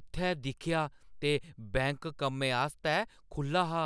उत्थै दिक्खेआ ते बैंक कम्मै आस्तै खु' ल्ला हा।